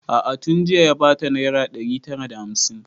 A'a tun jiya ya bata naira ɗari tara da hamsin